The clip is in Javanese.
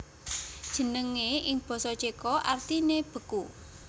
Jenengé ing basa Céko artiné beku